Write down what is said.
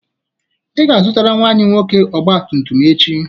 Ị ga-azụtara nnwa anyị nwoke ọgba tum tum echi.